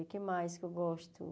O que mais que eu gosto?